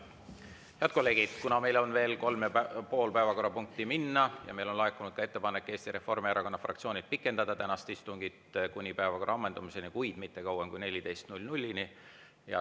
Head kolleegid, kuna meil on veel kolm ja pool päevakorrapunkti minna, siis on laekunud ettepanek Eesti Reformierakonna fraktsioonilt pikendada tänast istungit kuni päevakorra ammendumiseni, kuid mitte kauem kui kella 14-ni.